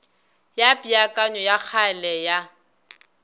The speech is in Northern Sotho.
ya peakanyo ya kgale ya